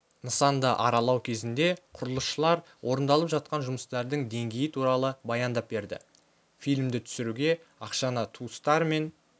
нысанды аралау кезінде құрылысшылар орындалып жатқан жұмыстардың деңгейі туралы баяндап берді фильмді түсіруге ақшаны туыстар мен